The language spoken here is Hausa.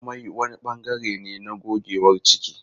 Amai wani bangare ne na gogewar ciki.